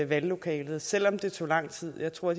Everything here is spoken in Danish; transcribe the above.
valglokalet selv om det tog lang tid jeg tror